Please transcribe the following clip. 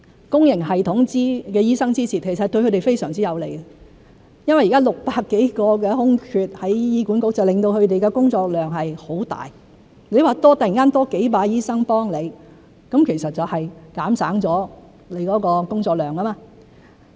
公營系統醫生支持，其實對他們非常有利，因為現時在醫院管理局有600多個空缺，令他們的工作量很大，如果突然多了幾百個醫生幫忙，其實就可減省工作量。